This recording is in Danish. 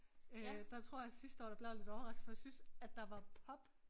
Øh der tror jeg sidste år der blev jeg lidt overrasket for jeg syntes at der var pop